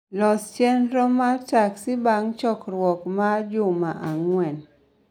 Los chenro ma taksi bang' chokruok maa ma juma ang'wen